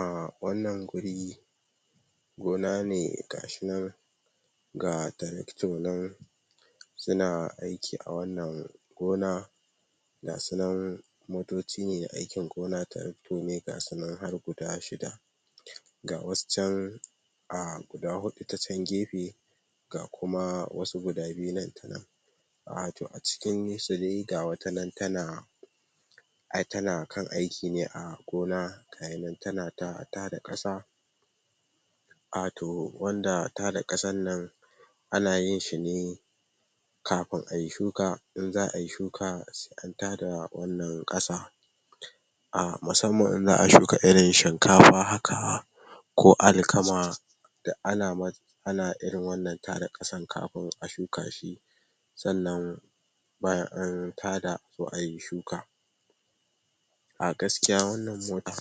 A wannan guri, gona ne ga shi nan ga taracto nan suna aiki a wannan gona ga su nan motocine, aikin gona tarakto ne ga su nan har guda shida, ga wasu a guda huɗu ta can gefe, ga kuma wasu guda biyu nan wato a cikinsu dai ka wata tana ai tana kan aiki ne a gona, ga shi nan tana ta tada ƙasa, wato wanda tada ƙasan nan anan yin shi ne kafin ai shuka, in za ai shuka, su kan ta da wannan ƙasa. A musamman in za'a shukairin shinkafa haka, ko alkama, duk ana ana irin wannan ta da ƙasan kafin a shuka shi, Sannan, bayan an ta da a zo ai shuka. A gaskiya wannan mota,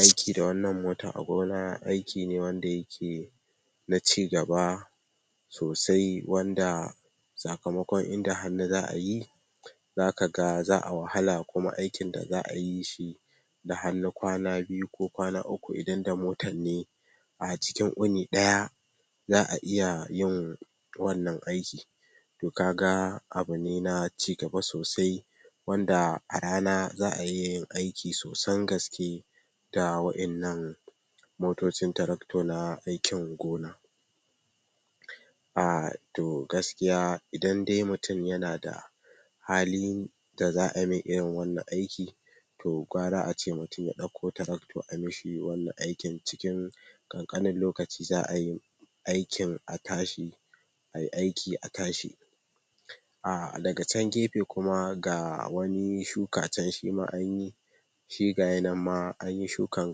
aiki da wannan motar a gona aiki ne wanda yake da ci gaba, sosai wanda, sakamakon in da hannuza'a yi, za ka ga, za'a wahala kuma aikin da za'ayi, da hannu kwana biyu ko kwana uku idan da motanne, a cikin wuni ɗaya, za'iya yin wannan aiki. To ka ga abune na ci gaba sosai, wanda a rana za'a iya yin aiki sosan gaske, da wa'innan motocin tarakto na aikin gona. Ah to gaskiya idan dai mutum yana da halin da za ai mai irin wannan aiki, to gwara ace mutum ya ɗauko tarakto a mishi wannan aiki cikin ɗan ƙanƙanin lokaci za ai aikin a tashi, ai aiki a tashi, A daga can gefe kuma ga wani shuka can shima an yi, shi gayi nanma anyi shukan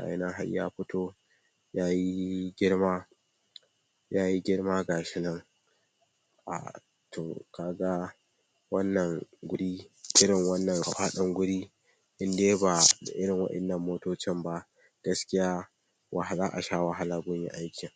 har ya fito, ya yi girma, yayi girma ga shi nan, ah to, ka ga wannan irin wannan faɗin guri in dai ba da irin waɗannan motocin ba, gaskiya, za'a sha wahala gun aiki.